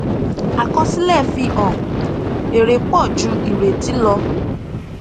àkọsílẹ fi hàn èrè pọ ju ìrètí lọ